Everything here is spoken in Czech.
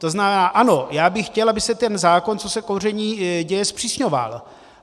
To znamená ano, já bych chtěl, aby se ten zákon, co se kouření týká, zpřísňoval.